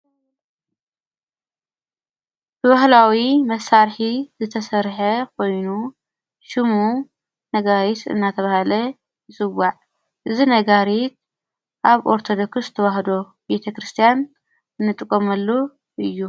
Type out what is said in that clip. ብባህላዊ መሳርሒ ዝተሠርሐ ኾይኑ ሹሙ ነጋይስ እናተብሃለ እጽዋዕ እዝ ነጋሪት ኣብ ኦርተዶኩስ ተዉህዶ ቤተ ክርስቲያን እንጥቆመሉ እዩ።